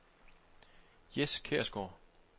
Jes Kjærsgaard